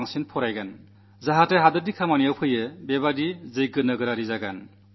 നാടിനു പ്രയോജനപ്പെടുന്ന പൌരനാകും എന്നു മനസ്സിലുറപ്പിച്ചു